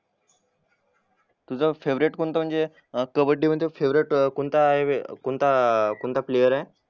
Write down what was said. तुझा फेवरेट कोणतं म्हणजे कबड्डी मध्ये फेवरेट अं कोणता हायवे कोणता प्लेअरआहे